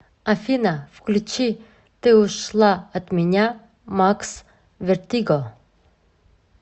афина включи ты ушла от меня макс вертиго